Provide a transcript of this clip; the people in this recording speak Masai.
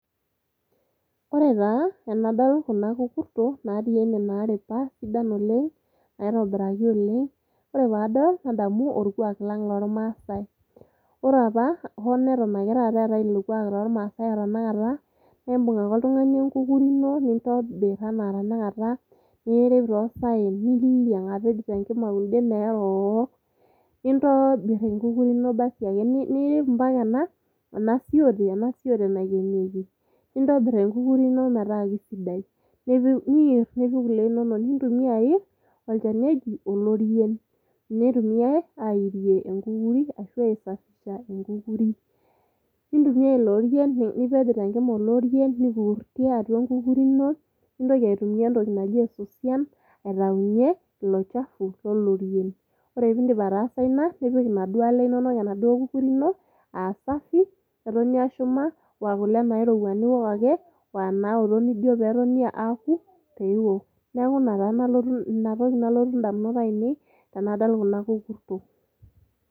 Ore pee adol kuna kukurtok naaripa sidan oleng, naitobiraki oleng, ore pee adol nadamu olkuaak lang loolmaasai. ore apa hoo neton ake eetai ilo kuaak toolmaasai otenakata, imbung ake oltungani enkukuri ino nitobir, nirrip too saen, niiliang apeny tenkima kunden neerook, nintobir enkukuri ino basiake. nirrip ompaka ena siotee naikenieki. nintobirr enkukurri ino metaa keisidai pee ipik kule innonok. Nintumia airr olchani oji oloirien, ninye eitumiae arrie inkurkutok. oloirien airie enkukuri ino, nintumia (niasishore) esosian aitayu ilo. ore pee indip ataasa ina nipik kule inonok enaduo kukuri ino kule inonok aa kule nairowua ashu inaooto nishum ake meoto pee iwok, neaku ina toki nalotu indamunot ainei tenadol kuna kukurtok.